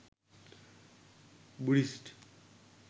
buddhist